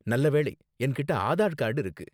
நல்ல வேளை, என்கிட்ட ஆதார் கார்டு இருக்கு.